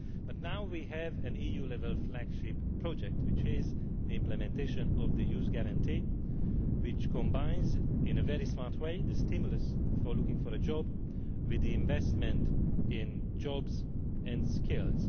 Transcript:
But now we have an EU level flagship project, which is the implementation of the Youth Guarantee, which combines in a very smart way the stimulus for looking for a job with investment in jobs and skills.